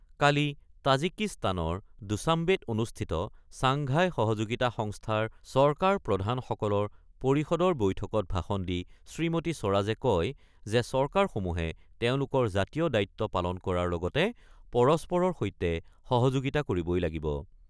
কালি তাজিকিস্তানৰ দুশ্বাম্বেত অনুষ্ঠিত ছাংঘাই সহযোগিতা সংস্থাৰ চৰকাৰপ্ৰধান সকলৰ পৰিষদৰ বৈঠকত ভাষণ দি শ্ৰীমতী স্বৰাজে কয় যে চৰকাৰসমূহে তেওঁলোকৰ জাতীয় দায়িত্ব পালন কৰাৰ লগতে পৰস্পৰৰ সৈতে সহযোগিতা কৰিবই লাগিব।